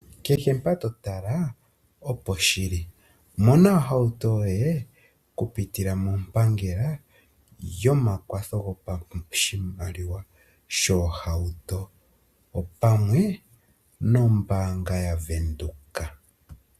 Keshe mpa totala oposhili mona ohauto yoye okupitila mompangela yomakwatho gopashimaliwa shoohauto opamwe noombanga yaVenduka.